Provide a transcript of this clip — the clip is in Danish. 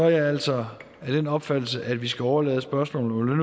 jeg altså af den opfattelse at vi skal overlade spørgsmålet om